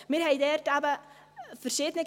Wir haben dort eben verschiedene …